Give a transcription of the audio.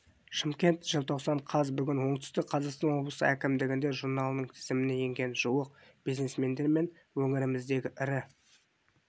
шымкент желтоқсан қаз бүгін оңтүстік қазақстан облысы әкімдігінде журналының тізіміне енген жуық бизнесмендер мен өңіріміздегі ірі